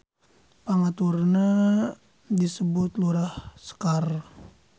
Pangaturna disebut Lurah Sekar.